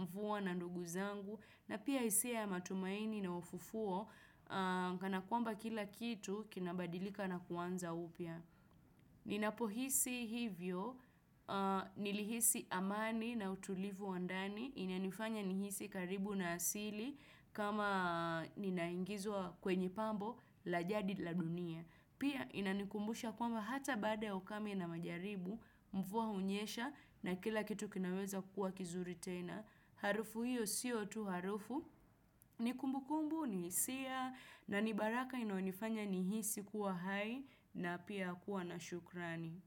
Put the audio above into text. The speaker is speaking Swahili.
mfuva na ndugu zangu, na pia hisia ya matumaini na ufufuo, kanakwamba kila kitu kinabadilika na kuanza upya. Ninapo hisi hivyo, nili hisi amani na utulivu wandani, inanifanya nihisi karibu na asili kama ninaingizwa kwenye pambo la jadi la dunia. Pia inanikumbusha kwamba hata bada okame na majaribu, mvua unyesha na kila kitu kinaweza kuwa kizuri tena. Harufu hiyo siyo tu harufu, ni kumbu kumbu, ni sia, na ni baraka ino nifanya ni hisi kuwa hai na pia kuwa na shukrani.